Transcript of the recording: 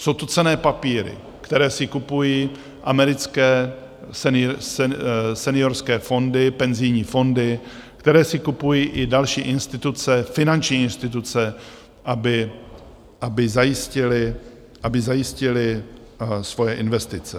Jsou to cenné papíry, které si kupují americké seniorské fondy, penzijní fondy, které si kupují i další instituce, finanční instituce, aby zajistily svoje investice.